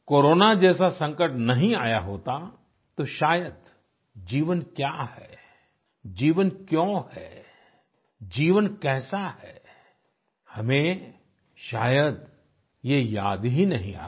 corona जैसा संकट नहीं आया होता तो शायद जीवन क्या है जीवन क्यों है जीवन कैसा है हमें शायद ये याद ही नहीं आता